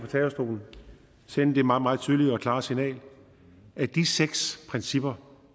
talerstolen og sende det meget meget tydelige og klare signal at de seks principper